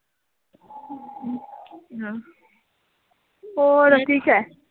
ਹੋਰ ਠੀਕ ਐ